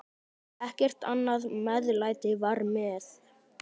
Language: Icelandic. Ekkert annað meðlæti var með.